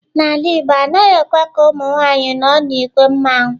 N'ala igbo, anaghị ekwe ka ụmụ nwanyị nọ n'ìgwè mmanwu.